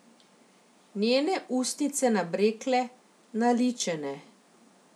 Njene ustnice nabrekle, naličene.